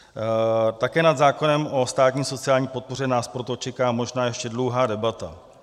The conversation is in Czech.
Také nad zákonem o státní sociální podpoře nás proto čeká možná ještě dlouhá debata.